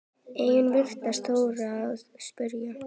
Enginn virtist þora að spyrja